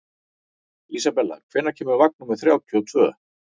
Isabella, hvenær kemur vagn númer þrjátíu og tvö?